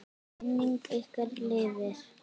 Minning ykkar lifir.